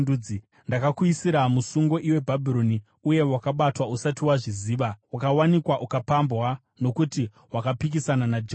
Ndakakuisira musungo, iwe Bhabhironi, uye wakabatwa usati wazviziva; wakawanikwa ukapambwa nokuti wakapikisana naJehovha,